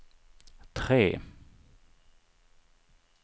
tre